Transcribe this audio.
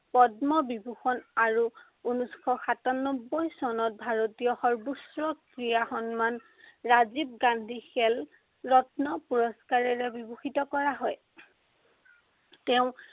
পদ্মবিভূষণ আৰু উনৈচশ সাতান্নব্বৈ চনত ভাৰতীয় সৰ্ব্বোচ্চ ক্ৰীড়া সন্মান ৰাজীৱ গান্ধী খেল ৰত্ন পুৰস্কাৰেৰে বিভূষিত কৰা হয়। তেওঁ